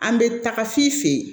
An bɛ taga f'i fe ye